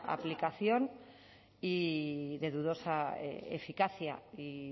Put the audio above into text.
aplicación y de dudosa eficacia y